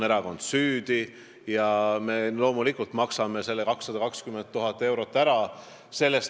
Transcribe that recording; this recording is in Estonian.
Erakond on süüdi ja me loomulikult maksame selle 220 000 eurot ära.